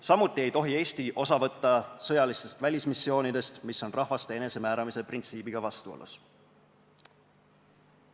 Samuti ei tohi Eesti osa võtta sõjalistest välismissioonidest, mis on rahvaste enesemääramise printsiibiga vastuolus.